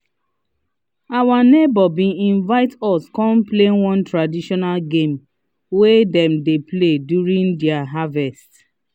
our neighbor been invite us come play one traditional game wey them dey play during their harvest